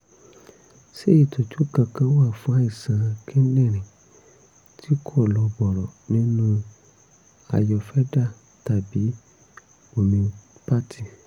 ṣé ìtọ́jú kankan wà fún àìsàn kíndìnrín tí kò lọ bọ̀rọ̀ nínú ayurveda tàbí homeopathy?